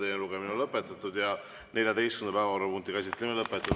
Teine lugemine on lõpetatud ja 14. päevakorrapunkti käsitlemine on lõpetatud.